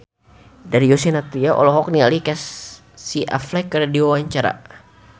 Darius Sinathrya olohok ningali Casey Affleck keur diwawancara